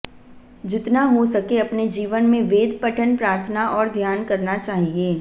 जितना हो सके अपने जीवन में वेद पठन प्रार्थना और ध्यान करना चाहिए